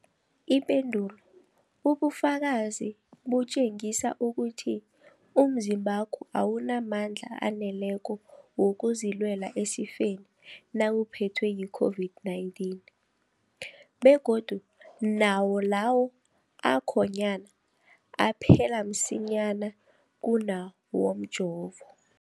Ipendulo, ubufakazi butjengisa ukuthi umzimbakho awunamandla aneleko wokuzilwela esifeni nawuphethwe yi-COVID-19, begodu nawo lawo akhonyana aphela msinyana kunawomjovo.